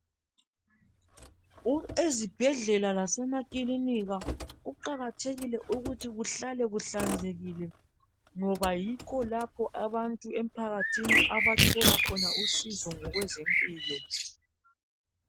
Ezibhedlela lasemakilinika kuqakathekile ukuthi kuhlale kuhlanzekile ngoba yikho lapho abantu emphakathini abathola khona usizo ngokwezempilo